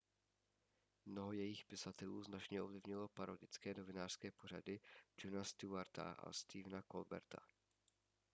mnoho jejich pisatelů značně ovlivnilo parodické novinářské pořady jona stewarta a stephena colberta